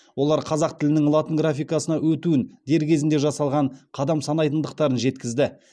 олар қазақ тілінің латын графикасына өтуін дер кезінде жасалған қадам санайтындықтарын жеткізді